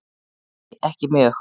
Nei ekki mjög.